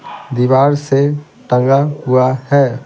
दीवार से टंगा हुआ है ।